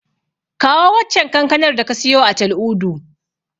Kawo waccen kankanar da ka siyo a Tal'udu.